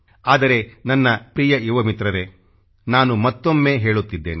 ಆದರೆ ನನ್ನ ಪ್ರಿಯ ಯುವ ಮಿತ್ರರೇ ನಾನು ಮತ್ತೊಮ್ಮೆ ಹೇಳುತ್ತಿದ್ದೇನೆ